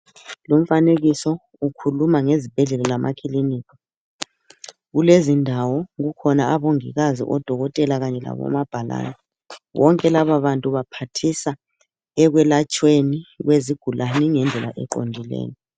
Lumfanekiso ukhuluma ngezibhedlela lamakilinika. Kulezindawo kukhona abongikazi, odokotela kanye labomabhalani. Bonke lababantu baphathisa ekwelatshweni kwezigulani ngendlela eqondileyo